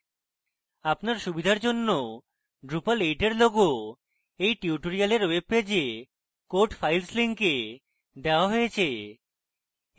আপনার সুবিধার জন্য drupal 8 logo এই tutorial ওয়েবপেজে code files link দেওয়া হয়েছে